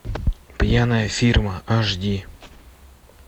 пьяная фирма аш ди